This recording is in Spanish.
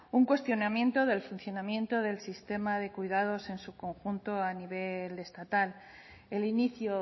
un cuestionamiento del funcionamiento del sistema de cuidados en su conjunto a nivel estatal el inicio